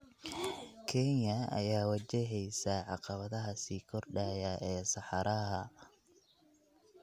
Kenya ayaa wajaheysa caqabadaha sii kordhaya ee saxaraha.